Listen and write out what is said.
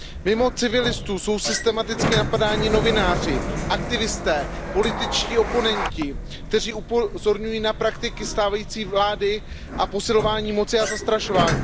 Mimo civilistů jsou systematicky napadáni novináři, aktivisté, političtí oponenti, kteří upozorňují na praktiky stávající vlády a posilování moci a zastrašování.